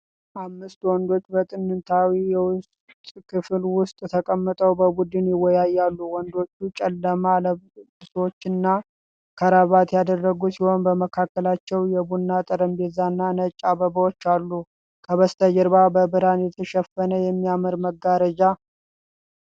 አምስት ወንዶች በጥንታዊ የውስጥ ክፍል ውስጥ ተቀምጠው በቡድን ይወያያሉ። ወንዶቹ ጨለማ ልብሶችንና ክራቫት ያደረጉ ሲሆን በመካከላቸው የቡና ጠረጴዛዎች እና ነጭ አበባዎች አሉ። ከበስተጀርባ በብርሃን የተሸፈነ የሚያምር መጋረጃ